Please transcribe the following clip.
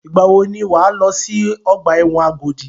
Ìgbà wò ni wà á lọ sí ọgbà ẹ̀wọ̀n Agodi?